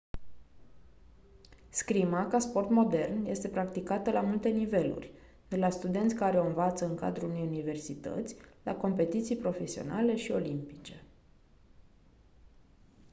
scrima ca sport modern este practicată la multe niveluri de la studenți care o învață în cadrul unei universități la competiții profesionale și olimpice